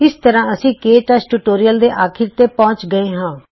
ਇਸ ਤਰ੍ਹਾਂ ਅਸੀਂ ਕੇ ਟੱਚ ਟਿਯੂਟੋਰੀਅਲ ਦੇ ਅਖੀਰ ਤੇ ਪਹੁੰਚ ਗਏੇ ਹਾਂ